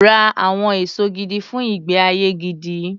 Ra àwọn èso gidi fun ìgbé-ayé gidi.